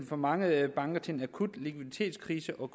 for mange banker til en akut likviditetskrise og